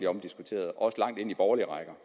omdiskuteret også langt ind i borgerlige rækker